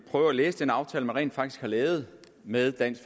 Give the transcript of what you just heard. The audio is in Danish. prøve at læse den aftale som man rent faktisk har lavet med dansk